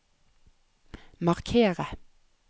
markere